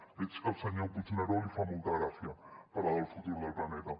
veig que al senyor puigneró li fa molta gràcia parlar del futur del planeta